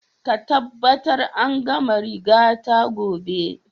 Ka tabbatar an gama rigata gobe!